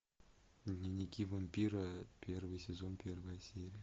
дневники вампира первый сезон первая серия